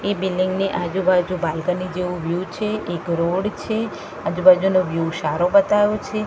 એ building ની આજુ બાજુ બાલ્કની જેવુ વ્યુ છે એક રોડ છે આજુ બાજુનુ વ્યુ શારો બેતાયો છે.